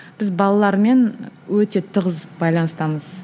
біз балалармен өте тығыз байланыстамыз